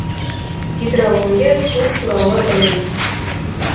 гидрология су туралы ілім